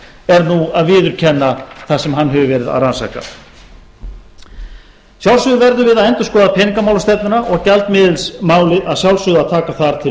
er nú að viðurkenna það sem hann hefur verið að rannsaka að sjálfsögðu verðum við að endurskoða peningamálastefnuna og gjaldmiðilsmálið þarf að sjálfsögðu að taka þar til